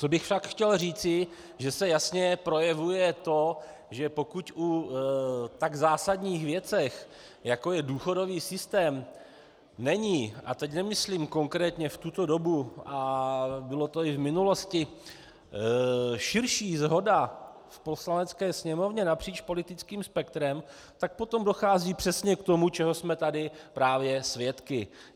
Co bych však chtěl říci, že se jasně projevuje to, že pokud u tak zásadních věcí, jako je důchodový systém, není, a teď nemyslím konkrétně v tuto dobu, a bylo to i v minulosti, širší shoda v Poslanecké sněmovně napříč politickým spektrem, tak potom dochází přesně k tomu, čeho jsme tady právě svědky.